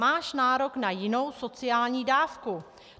Máš nárok na jinou sociální dávku.